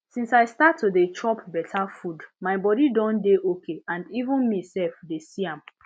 since i start to dey chop better food my body don dey okay and even me self dey see am